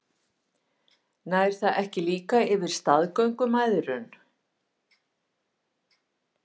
Nær það ekki líka yfir staðgöngumæðrun?